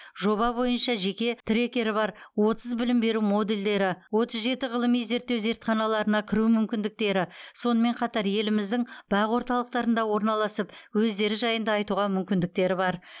жоба бойынша жеке трекері бар отыз білім беру модульдері он жеті ғылыми зерттеу зертханаларына кіру мүмкіндіктері сонымен қатар еліміздің бақ орталықтарында орналасып өздері жайында айтуға мүмкіндіктері бар